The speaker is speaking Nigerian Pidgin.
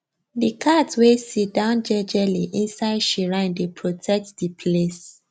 the cat way sidown jejeli inside shrine dey protect the place